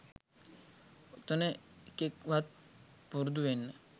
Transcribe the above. ඔතන එකෙක් වත් පුරුදු වෙන්න